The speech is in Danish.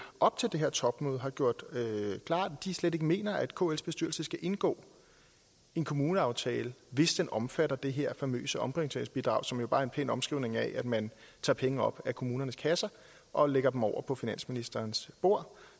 op til det her topmøde har gjort klart at de slet ikke mener at kls bestyrelse skal indgå en kommuneaftale hvis den omfatter det her famøse omprioriteringsbidrag som jo bare er en pæn omskrivning af at man tager penge op af kommunernes kasser og lægger dem over på finansministerens bord